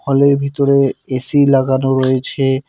হলের ভিতরে এ_সি লাগানো রয়েছে।